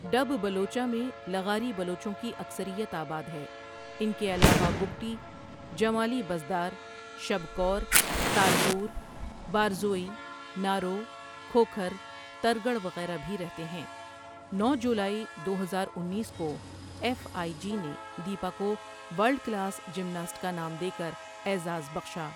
ڈب بلوچاں میں لغاری بلوچوں کی اکثریت آباد ہے، ان کے علاوہ بگٹی، جمالی بزدار، شب کور، تالپور باروزئی، نارو، کھوکھر، ترگڑ وغیرہ بھی رہتے ہیں، نو جولائی دو ہزار انیس کو، آیف آئی جی نے دیپا کو ورلڈ کلاس جمناسٹ کا نام دے کر اعزاز بخشا۔